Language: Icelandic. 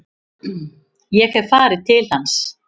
Ég hef farið til hans.